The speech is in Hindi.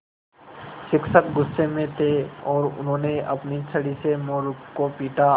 शिक्षक गुस्से में थे और उन्होंने अपनी छड़ी से मोरू को पीटा